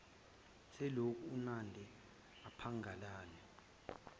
selokhu unandi aphangalala